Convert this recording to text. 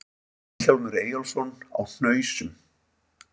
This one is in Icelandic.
Vilhjálmur Eyjólfsson á Hnausum